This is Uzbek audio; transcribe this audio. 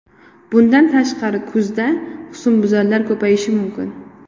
Bundan tashqari kuzda husnbuzarlar ko‘payishi mumkin.